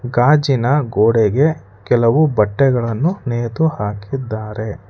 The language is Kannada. ಗಾಜಿನ ಗೋಡೆಗೆ ಕೆಲವು ಬಟ್ಟೆಗಳನ್ನು ನೇತು ಹಾಕಿದ್ದಾರೆ.